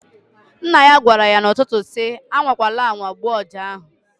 Nna ya gwara ya n'ụtụtụ si, "A nwakwala anwa gbuo ọja ahụ!"